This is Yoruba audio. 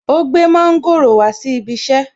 Ó gbé mọ́ńgòrò wá sí ibi iṣẹ́